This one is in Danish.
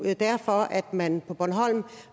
er derfor at man på bornholm